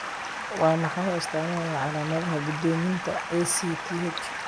Waa maxay astamaha iyo calaamadaha go'doominta ACTH?